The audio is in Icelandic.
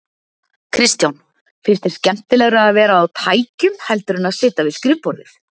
Kristján: Finnst þér skemmtilegra að vera á tækjum heldur en að sitja við skrifborðið?